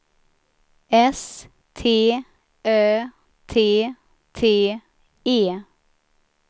S T Ö T T E